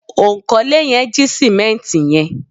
onkole yen ji simenti yen